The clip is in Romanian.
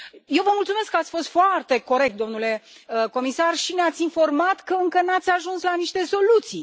Eu vă mulțumesc că ați fost foarte corect, domnule comisar, și ne ați informat că încă n ați ajuns la niște soluții.